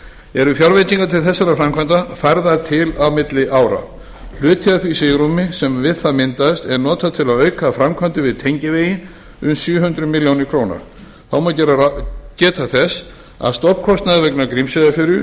eru fjárveitingar til þessara framkvæmda færðar til á milli ára hluti af því svigrúmi sem við það myndast er notað til að auka framkvæmdir við tengivegi um sjö hundruð milljóna króna þá má geta þess að stofnkostnaður vegna grímseyjarferju